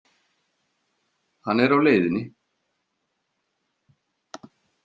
Hann er á leiðinni.